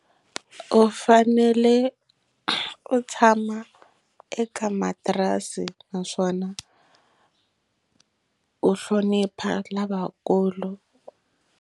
U fanele u tshama eka matirasi naswona u hlonipha lavakulu.